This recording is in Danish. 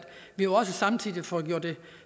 vi jo også samtidig får gjort det